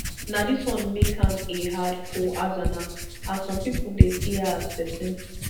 na dis wan make am a hard for hassana as some pipo dey see her as pesin